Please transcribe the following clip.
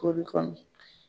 Kori kɔnɔ